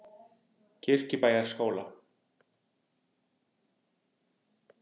Kirkjubæjarskóla